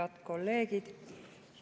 Head kolleegid!